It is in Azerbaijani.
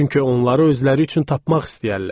Çünki onları özləri üçün tapmaq istəyərlər."